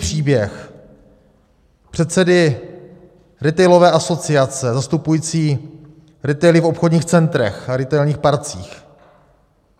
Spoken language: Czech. Příběh předsedy retailové asociace, zastupující retaily v obchodních centrech a retailních parcích.